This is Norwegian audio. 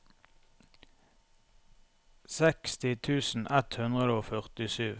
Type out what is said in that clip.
seksti tusen ett hundre og førtisju